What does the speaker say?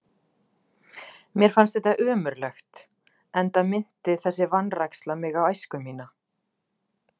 Mér fannst þetta ömurlegt, enda minnti þessi vanræksla mig á æsku mína.